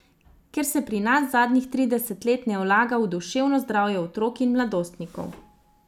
Ker se pri nas zadnjih trideset let ne vlaga v duševno zdravje otrok in mladostnikov.